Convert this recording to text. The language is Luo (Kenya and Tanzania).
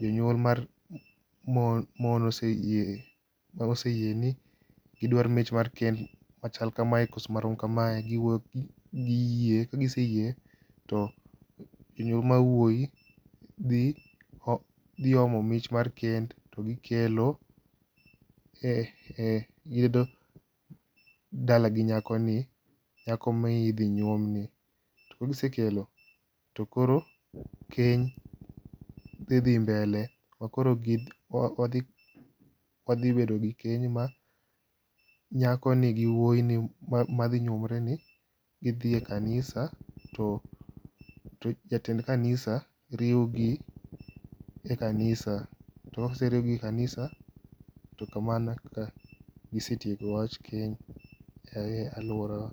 jonyuol mar mon ose yie ma waseyie ni gi dwar mich mar kend machal kamae koso marom kamae giwuoyo to giyie. Kagiseyie to jonyuol mar muoi dhi omo mich mar kend to gikelo e yudo e dala gi nyako ni. Nyako midhi nyuom ni. To kagisekelo to koro keny dhi dhi mbele makoro wadhibedo gi keny ma nyako ni gi wuoi ni madhi nyuomone ni gidhiye kanisa to jatend kanisa riwo gi e kanisa to koseriw gi e kanisa to kamano e kaka gisetieko wach keny e aluora wa.